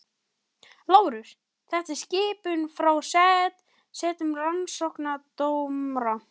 LÁRUS: Þetta er skipun frá settum rannsóknardómara.